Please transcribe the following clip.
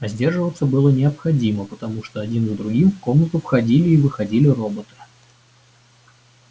а сдерживаться было необходимо потому что один за другим в комнату входили и выходили роботы